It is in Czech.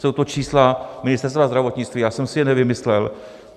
Jsou to čísla Ministerstva zdravotnictví, já jsem si je nevymyslel.